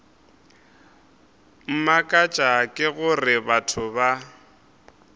mmakatša ke gore batho ba